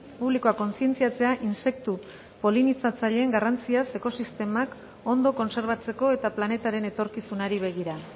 publikoa kontzientziatzea intsektu polinizatzaileen garrantziaz ekosistemak ondo kontserbatzeko eta planetaren etorkizunari begira